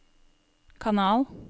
kanal